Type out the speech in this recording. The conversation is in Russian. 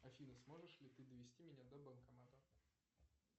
афина сможешь ли ты довести меня до банкомата